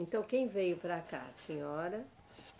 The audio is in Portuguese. Então, quem veio para cá, a senhora?